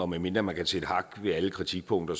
medmindre man kan sætte hak ved alle kritikpunkter